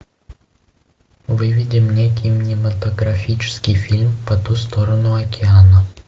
выведи мне кинематографический фильм по ту сторону океана